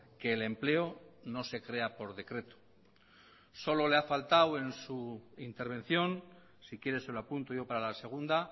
que el empleo no se crea por decreto solo le ha faltado en su intervención si quiere se lo apunto yo para la segunda